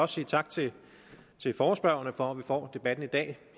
sige tak til forespørgerne for at vi får debatten i dag